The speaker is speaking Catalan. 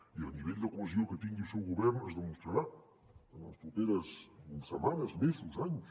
i el nivell de cohesió que tingui el seu govern es demostrarà en les properes setmanes mesos anys